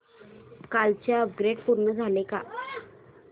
कालचं अपग्रेड पूर्ण झालंय का